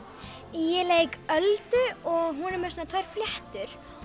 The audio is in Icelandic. ég leik Öldu og hún er með svona tvær fléttur